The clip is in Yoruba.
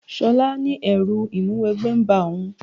Ṣọlá ní ẹrú Ìmúwẹgbẹ́ ń ba òun